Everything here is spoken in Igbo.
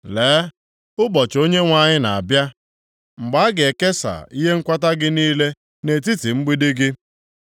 Lee, ụbọchị Onyenwe anyị na-abịa, mgbe a ga-ekesa ihe nkwata gị niile nʼetiti mgbidi gị.